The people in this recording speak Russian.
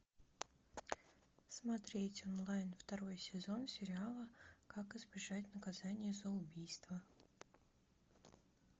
смотреть онлайн второй сезон сериала как избежать наказания за убийство